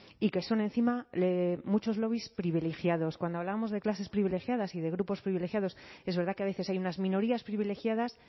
y que son encima muchos lobbies privilegiados cuando hablábamos de clases privilegiadas y de grupos privilegiados es verdad que a veces hay unas minorías privilegiadas